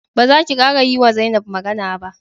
Ba zaki kara yiwa Zainab magana ba!